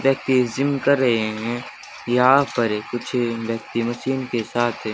व्यक्ति जिम कर रहे हैं यहां पर कुछ व्यक्ति मशीन के साथ हैं।